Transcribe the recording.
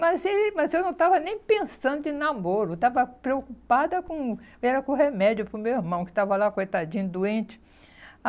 Mas ele mas eu não estava nem pensando em namoro, eu estava preocupada com... Era com remédio para o meu irmão, que estava lá, coitadinho, doente.